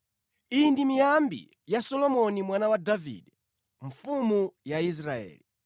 Iyi ndi miyambi ya Solomoni mwana wa Davide, mfumu ya Israeli: